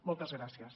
moltes gràcies